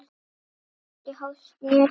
Hvorki hósti né stuna.